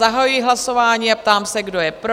Zahajuji hlasování a ptám se, kdo je pro?